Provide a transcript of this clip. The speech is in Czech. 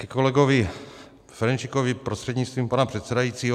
Ke kolegovi Ferjenčíkovi prostřednictvím pana předsedajícího.